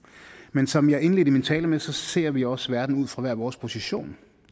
men som jeg indledte min tale med ser vi også verden ud fra hver vores position